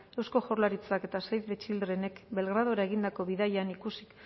eusko jaurlaritzak eta save the childrenek belgradora egindako bidaian ikusi